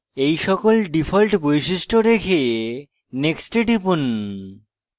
এই সকল ডিফল্ট বৈশিষ্ট্য রেখে next এ টিপুন